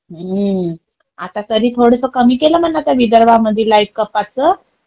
आता तरी थोडसं कमी केला म्हणा त्या विदर्भामध्ये लाईट कपाटाचं.